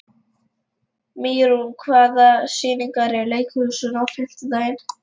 Mýrún, hvaða sýningar eru í leikhúsinu á fimmtudaginn?